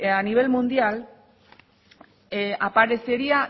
a nivel mundial aparecería